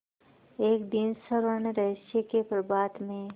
एक दिन स्वर्णरहस्य के प्रभात में